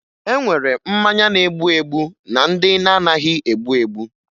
E nwere mmanya na-egbu egbu na ndị na-anaghị egbu egbu